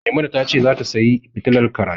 Maimuna ta ce zata sayi fitilar karatu.